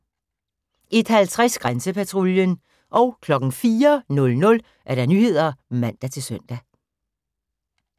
01:50: Grænsepatruljen 04:00: Nyhederne (man-søn)